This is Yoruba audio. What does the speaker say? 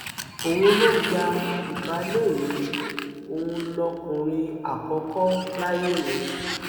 òun ló gba ìbàlẹ mi òun lọkùnrin àkọkọ láyé mi